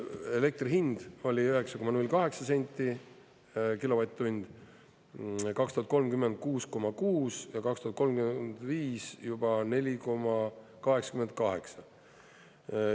Elektri hind oli 9,08 senti kilovatt-tund, 2030 6,6 ja 2035 juba 4,88.